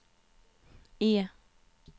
E